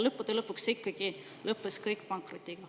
Lõpuks lõppes kõik ikkagi pankrotiga.